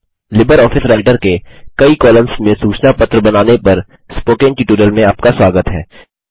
LibreOffice Writer के कई columns में सूचना पत्र बनाने पर स्पोकन ट्यूटोरियल में आपका स्वागत है